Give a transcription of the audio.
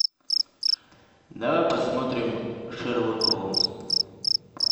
давай посмотрим шерлок холмс